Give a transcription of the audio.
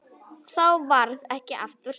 Þá varð ekki aftur snúið.